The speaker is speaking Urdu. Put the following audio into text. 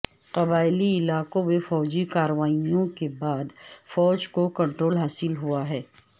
قبائلی علاقوں میں فوجی کارروائیوں کے بعد فوج کو کنٹرول حاصل ہوا ہے